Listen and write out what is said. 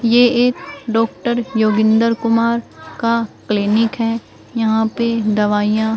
ये एक डॉक्टर योगेंद्र कुमार का क्लीनिक है यहां पे दवाइयां--